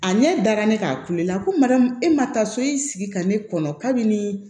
A ne dara ne k'a kulela ko mariyamu e ma taa so i sigi ka ne kɔnɔ kabi nin